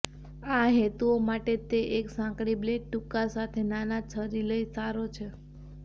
આ હેતુઓ માટે તે એક સાંકડી બ્લેડ ટૂંકા સાથે નાના છરી લઇ સારો છે